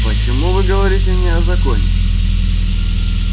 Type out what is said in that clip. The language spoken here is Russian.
почему вы говорите мне о законе